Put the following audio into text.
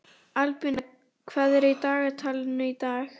Albína, hvað er í dagatalinu í dag?